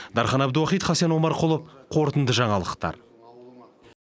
дархан әбдуахит хасен омарқұлов қорытынды жаңалықтар